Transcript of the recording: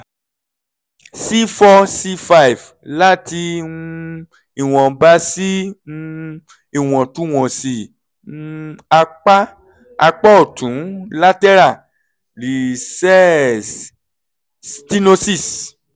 cfour cfive láti um ìwọ̀nba sí um ìwọ̀ntúnwọ̀nsí um apá apá ọ̀tún lateral recess stenosis [sc]